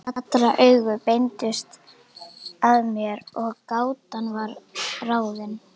Allra augu beindust að mér og gátan var ráðin.